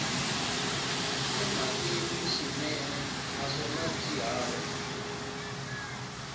emhakeni swinene naswona byi hava